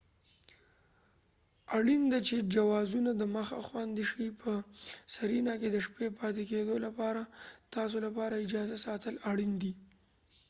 اړین ده چی جوازونه دمخه خوندي شي په سرینا کې د شپې پاتې کیدو لپاره تاسو لپاره اجازه ساتل اړین دی